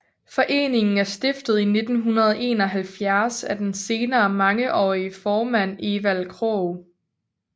Foreningen er stiftet i 1971 af den senere mangeårige formand Evald Krog